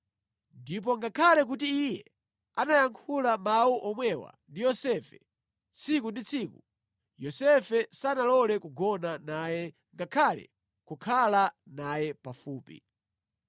Ndipo ngakhale kuti iye anayankhula mawu omwewa ndi Yosefe tsiku ndi tsiku, Yosefe sanalole kugona naye ngakhale kukhala naye pafupi.